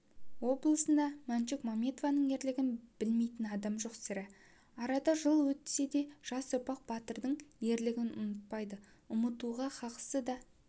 облысында мәншүк мәметованың ерлігін білмейтін адам жоқ сірә арада жыл өтсе де жас ұрпақ батырдың ерлігін ұмытпайды ұмытуға қақысы да